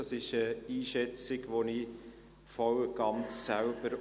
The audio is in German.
Dies ist eine Einschätzung, die ich selbst voll und ganz teile.